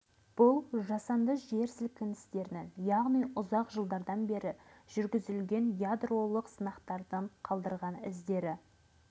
бұл жасанды жер сілкіністерінің яғни ұзақ жылдардан бергі үздіксіз жүргізілген ядролық сынақтың қалдырған іздері